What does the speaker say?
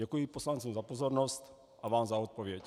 Děkuji poslancům za pozornost a vám za odpověď.